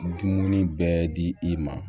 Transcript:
Dumuni bɛɛ di i ma